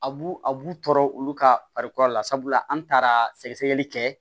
A b'u a b'u tɔɔrɔ olu ka farikolo la sabula an taara sɛgɛsɛgɛli kɛ